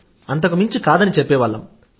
అంతకుముంచి ఏమీ లేదని చెప్పేవాళ్లం